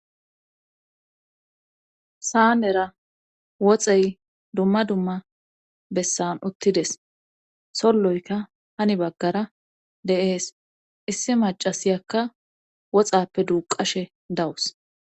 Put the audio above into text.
saanera woxey dumma dumma bessan uttides solloyka hani baggara de7ees issi macasiyakka woxaappe duuqashe dawus.